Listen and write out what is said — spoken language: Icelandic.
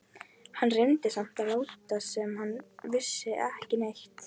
Hann reyndi samt að láta sem hann vissi ekki neitt.